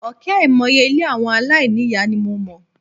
Òkè àìmọye ilé àwọn aláìní ìyá ni mo mọ̀.